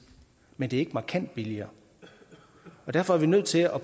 men den er ikke markant billigere og derfor er vi nødt til at